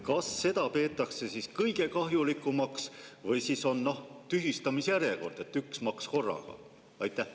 Kas seda peetakse kõige kahjulikumaks või siis on teil tühistamisjärjekord, et üks maks korraga?